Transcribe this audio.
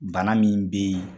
Bana min bɛ yen